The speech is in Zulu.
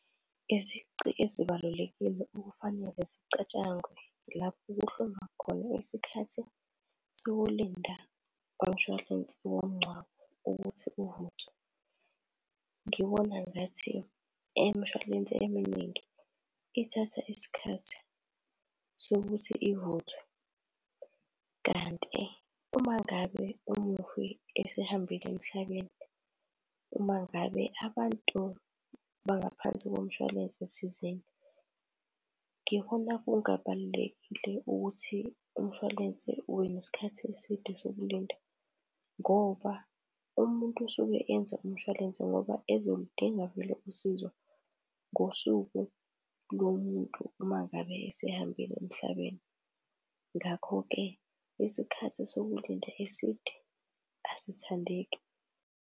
Izici ezibalulekile okufanele zicatshangwe lapho kuhlolwa khona isikhathi sokulinda komshwalense womngcwabo ukuthi uvuthwe, ngibona ngathi imshwalense eminingi ithatha isikhathi sokuthi ivuthwe. Kanti uma ngabe umufi esehambile emhlabeni, uma ngabe abantu bangaphansi komshwalense thizeni, ngibona kungabalulekile ukuthi umshwalense ube nesikhathi eside sokulinda ngoba umuntu usuke enza umshwalense ngoba ezolidinga vele usizo ngosuku lomuntu uma ngabe esehambile emhlabeni. Ngakho-ke, isikhathi sokulinda eside asithandeki.